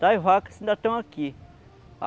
das vacas se ainda estão aqui.